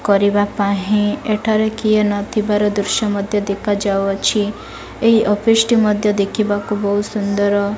କରିବା ପାହିଁ ଏଟା ରେ କିଏ ନଥିବର ଦୃଶ୍ୟ ମଧ୍ୟ ଦେଖା ଯାଉଅଛି। ଏହି ଅଫିସ ଟି ମଧ୍ୟ ଦେଖିବାକୁ ବୋହୁତ ସୁନ୍ଦର।